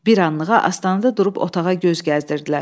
Bir anlığa astanada durub otağa göz gəzdirdilər.